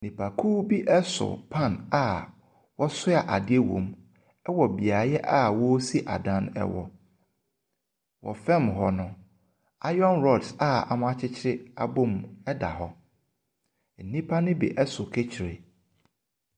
Nnipkuo bi ɛso pan a ɔsoa adeɛ wɔ mu ɛwɔ beaeɛ a ɔsi adan ɛwɔ. Wɔ fam hɔ no, iron rods a wɔakyekyere abom eda hɔ. Nnipa no bi ɛso kɛhyire.